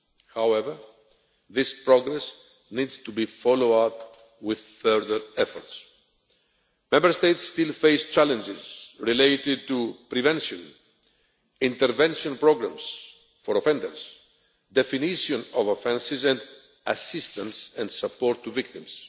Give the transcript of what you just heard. However, this progress needs to be followed up with further efforts. Member States still face challenges related to prevention, intervention programmes for offenders, definition of offences, and assistance and support for victims.